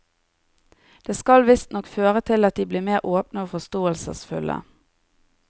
Det skal visstnok føre til at de blir mer åpne og forståelsesfulle.